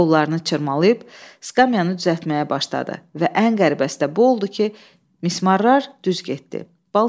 Qollarını çırmalayıb skamyanynı düzəltməyə başladı və ən qəribəsi də bu oldu ki, misrarlar düz getdi.